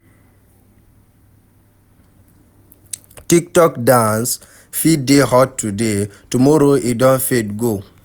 Tic tok dance fit dey hot today, tomorrow e don fade go